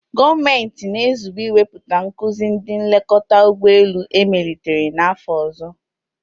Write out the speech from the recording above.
Gọọmenti na-ezube iwepụta nkuzi ndị nlekọta ụgbọ elu emelitere n'afọ ọzọ.